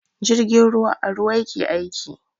Jirgin ruwa a ruwa yake aiki.